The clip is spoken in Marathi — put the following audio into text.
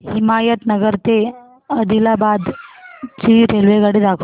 हिमायतनगर ते आदिलाबाद ची रेल्वेगाडी दाखवा